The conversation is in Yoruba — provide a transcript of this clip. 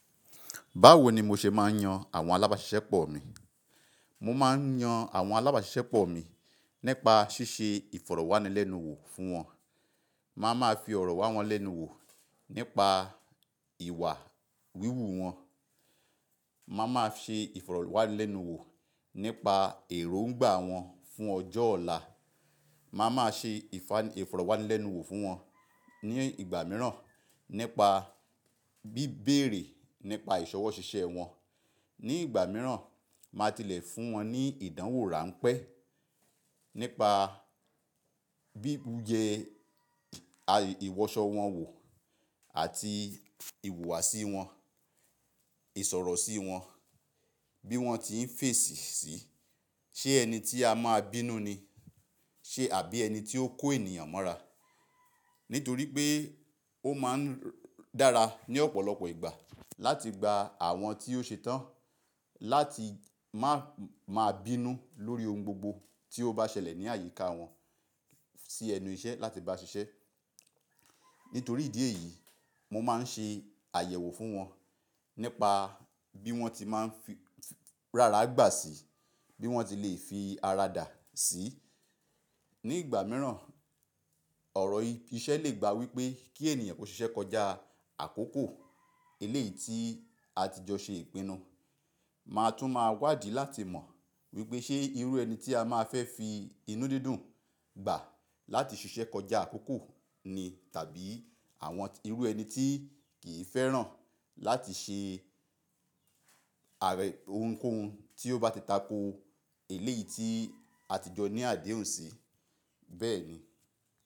Báwo ni mo ṣe máa ń yan àwọn alábáṣiṣẹ́ pọ̀ mi? Mo máa ń yan àwọn alábáṣiṣẹ́ pọ̀ mi nípa ṣíṣe ìfọ̀rọ̀wánilẹ́nuwò fún wọn. Máa ma fi ọ̀rọ̀ wá wọn lẹ́nu wò nípa ìwà wíwù wọn. Máa ma ṣe ìfọ̀rọ̀wánilẹ́nuwò nípa èróngbà wọn fún ọjọ́ ọ̀la. Máa ma ṣe ìfọ̀rọ̀wánilẹ́nuwò fún wọn ní ìgbà mìíràn nípa bí béèrè nípa ìṣọwọ́ ṣiṣẹ́ wọn. Ní ìgbà mìíràn, màá tilẹ̀ fún wọn ní ìdánwò ránpẹ́ nípa bí ó jẹ ìwọsọ wọn wò àti ìhùwàsí wọn, ìsọ̀rọ̀ sí wọn, bí wọ́n ti ń fèsì sí i. Ṣé ẹni tí a máa bínú ni? Ṣe àbí ẹni tí ó kó ènìyàn mọ́ra? Nítorí pé ó máa ń dára ní ọ̀pọ̀lọpọ̀ ìgbà láti gba àwọn tí ó ṣetán láti má máa bínú lórí ohun gbogbo tí ó bá ṣẹlẹ̀ ní àyíká wọn sí ẹnu iṣẹ́ láti bá ṣiṣẹ́. Nítorí ìdí èyí, mo máa ń ṣe àyẹ̀wò fún wọn nípa bí wọ́n ti máa ń fi rárá gbà sí i, bí wọ́n ti lè fi ara dà sí i. Ní ìgbà mìíràn, ọ̀rọ̀ iṣẹ́ lè gba wípé kí ènìyàn kó ṣiṣẹ́ kọjá àkókò eléyìí tí a ti jọ ṣe ìpinnu. Màá tún máa wádìí láti mọ̀ wípé ṣé irú ẹni tí a máa fẹ́ fi inú dídùn gbà láti ṣiṣẹ́ kọjá àkókò ni tàbí àwọn irú ẹni tí kì í fẹ́ràn láti ṣe àrẹ ohunkóhun tí ó bá ti tako eléyìí tí a ti jọ ní àdéhùn sí. Bẹ́ẹ̀ ni.